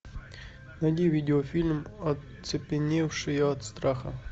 найди видеофильм оцепеневшие от страха